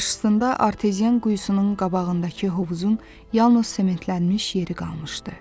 Qarşısında arteziyan quyusunun qabağındakı hovuzun yalnız sementlənmiş yeri qalmışdı.